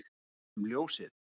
um ljósið